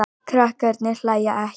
Krakkarnir hlæja ekki.